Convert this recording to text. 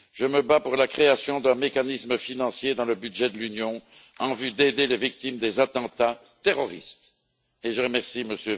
Je me bats pour la création d'un mécanisme financier dans le budget de l'Union en vue d'aider les victimes des attentats terroristes, et je remercie M.